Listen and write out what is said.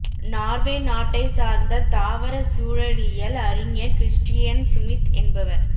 Norway நாட்டை சார்ந்த தாவர சூழலியல் அறிஞர் கிறிஸ்டியன் சுமித் என்பவர்